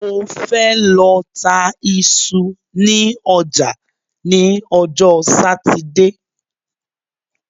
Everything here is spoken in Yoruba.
Mo fẹ́ lọ ta iṣu ní ọjà ní ọjọ́ Sátidé